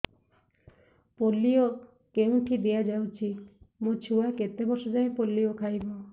polio କେଉଁଠି ଦିଆଯାଉଛି ମୋ ଛୁଆ କେତେ ବର୍ଷ ଯାଏଁ ପୋଲିଓ ଖାଇବ